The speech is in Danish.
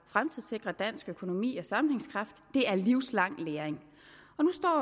fremtidssikre dansk økonomi og sammenhængskraft er livslang læring